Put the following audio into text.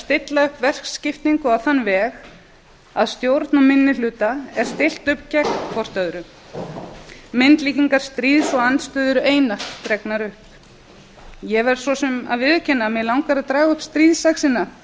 stilla upp verkskiptingu á þann veg að stjórnarminnihluta er stillt upp gegn hvort öðru myndlíkingastríð og andstöðu eru einatt dregnar upp ég verð svo sem að viðurkenna að mig langar að draga upp stríðsöxina